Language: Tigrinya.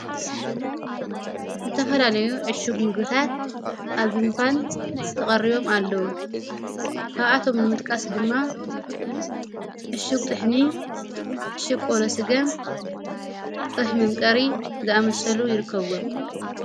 ዘተፈላለዮ ዕሹጕ ምግታት ኣብእንኳን ተቐርቦም ኣለዉ ካብኣቶም ንምጥቃስ ድማ እሹጕ ጥሕኒ አሹግ ቕቆሎ ስገም ጽሕ መምቀሪ ዝኣመሰሉ ይርከብዎም::